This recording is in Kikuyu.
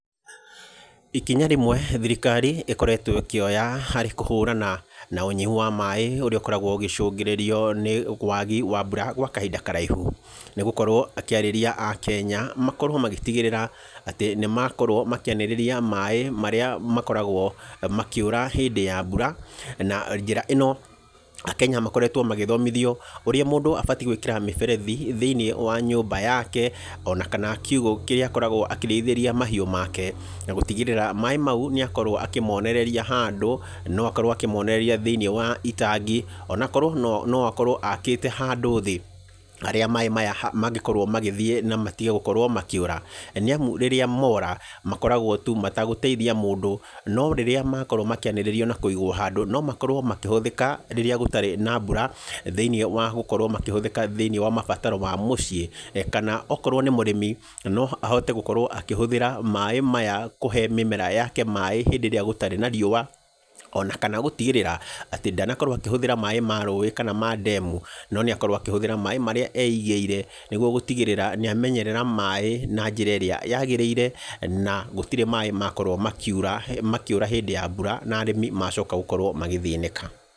Ikinya rĩmwe thirikari ĩkoretwo ĩkĩoya harĩ kũhũrana na ũnyihu wa maaĩ ũrĩa ũkoragwo ũgĩcũngĩrĩrio nĩ wagi wa mbura gwa kahinda karaihu nĩ gũkorwo ĩkĩarĩria akenya makorwo magĩtigiríĩa atĩ nĩ makorwo makĩanĩrĩria maaĩ marĩa makoragwo makĩũra hĩndĩ ya mbura, na njĩra ĩno akenya makoretwo magĩthomithio ũrĩa mũndũ abatiĩ gwĩkira mĩberethi thĩiniĩ wa nyũmba yake, ona kana kiugũ kĩrĩa akoragwo akĩrĩithĩria mahiũ make, na gũtigĩrĩra maaĩ mau nĩ akorwo akĩmonereria handũ. No akorwo akĩmonereria thĩinĩ wa itangi, ona akorwo no akorwo akite handũ thĩĩ harĩa maaĩ maya mangĩkorwo magĩthiĩ na matige gũkorwo makĩũra, nĩ amu rĩrĩa mora makoragwo tu matagũteithia mũndũ. No rĩrĩa makorwo makíĩnĩrĩrio, na kũigwo handũ, nómakorwo makĩhũthĩka rĩrĩa gũtarĩ na mbura thĩinĩ wa gũkorwo makĩhũthĩka thĩiniĩ wa mabataro ma mũciĩ, kana okorwo nĩ mũrĩmi no ahote gũkorwo akĩhũthĩra maaĩ maya kũhe mĩmera yake maaĩ hĩndĩ ĩrĩa gũtarĩ na riũa, ona kana gũtigĩrĩra atĩ ndanakorwo akĩhũthĩra maaĩ ma rũĩĩ, kana ma ndemu, no nĩ akorwo akĩhũthĩra maaĩ marĩa eigĩire. Nĩguo gũtigĩrĩra nĩ amenyerera maaĩ na njĩra ĩrĩa yagĩrĩire, na gũtirĩ maaĩ makorwo makĩũra hĩndĩ ya mbura na arĩmi macoka gũkorwo magĩthĩnĩka.